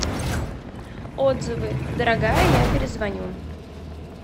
отзывы дорогая я перезвоню